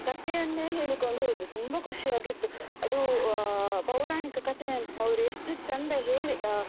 ಕಥೆಯನ್ನೇ ಹೇಳಿಕೊಂಡು ಹೋದ್ರು ತುಂಬಾ ಖುಷಿಯಾಗಿತ್ತು ಅದು ಅಹ್ ಪೌರಾಣಿಕ ಕತೆಯನ್ನು ಅವ್ರು ಎಷ್ಟು ಚಂದ ಹೇಳಿ